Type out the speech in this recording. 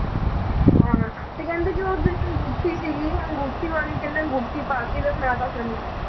ਹਾਂ ਹਾ ਤੇ ਕਹਿੰਦੇ ਕਿ ਉਹ ਜਿਹੜੀ ਅੰਗੂਠੀ ਸੀਗੀ ਅੰਗੂਠੀ ਕਹਿੰਦੇ ਅੰਗੂਠੀ ਪਾ ਕੇ ਦਫ਼ਨਾ ਦਿੱਤਾ ਸੀ ਉਹਨੂੰ